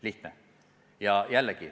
Lihtne!